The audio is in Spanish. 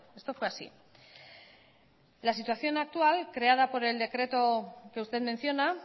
esto fue así la situación actual creada por el decreto que usted menciona